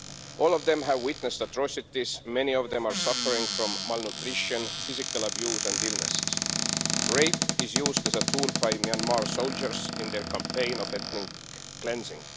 All of them have witnessed atrocities, and many of them are suffering from malnutrition, physical abuse and illnesses. Rape is used as a tool by Myanmar soldiers in their campaign of ethnic cleansing.